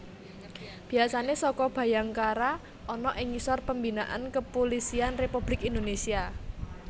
Biasane Saka Bhayangkara ana ing ngisor pembinaan Kepulisian Republik Indonesia